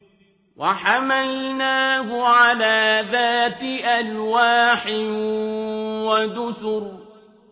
وَحَمَلْنَاهُ عَلَىٰ ذَاتِ أَلْوَاحٍ وَدُسُرٍ